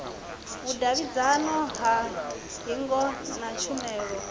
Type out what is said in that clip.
vhudavhidzano ha hingo na tshumelo